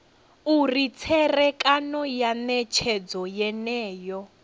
uri tserekano ya netshedzo yeneyo